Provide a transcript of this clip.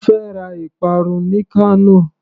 Mo fẹ́ ra ìparun ní Kano.